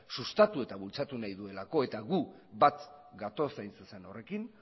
sustatu eta bultzatu nahi duela eta gu bat gatoz hain zuzen horrekin